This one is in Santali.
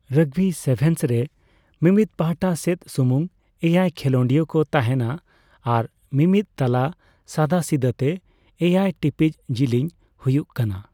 ᱨᱚᱜᱵᱤ ᱥᱮᱵᱷᱮᱱᱥ ᱨᱮ, ᱢᱤᱢᱤᱫ ᱯᱟᱦᱴᱟ ᱥᱮᱫ ᱥᱩᱢᱩᱝ ᱮᱭᱟᱭ ᱠᱷᱮᱞᱚᱸᱰᱤᱭᱟ ᱠᱚ ᱛᱟᱸᱦᱮᱱᱟ, ᱟᱨ ᱢᱤᱢᱤᱫ ᱛᱟᱞᱟ ᱥᱟᱫᱟᱥᱤᱫᱟᱹ ᱛᱮ ᱮᱭᱟᱭ ᱴᱤᱯᱤᱡ ᱡᱤᱞᱤᱧ ᱦᱩᱭᱩᱜ ᱠᱟᱱᱟ ᱾